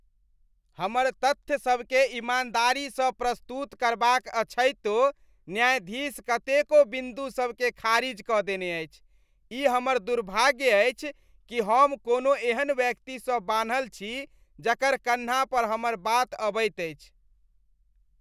हमर तथ्यसभकेँ ईमानदारीसँ प्रस्तुत करबाक अछैतो, न्यायाधीश कतेको बिंदुसभकेँ खारिज कऽ देने अछि। ई हमर दुर्भाग्य अछि कि हम कोनो एहन व्यक्तिसँ बान्हल छी जकर कन्हा पर हमर बात अबैत अछि।